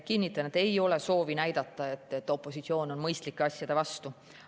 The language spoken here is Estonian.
Kinnitan, et ei ole soovi näidata, et opositsioon on mõistlike asjade vastu.